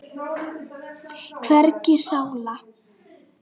Hvergi sála.